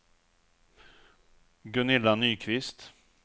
Gunilla Nyqvist